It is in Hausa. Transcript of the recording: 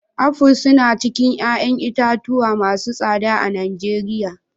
Aful suna cikin 'ƴa'ƴan itatuwa masu tsada a Nijeriya.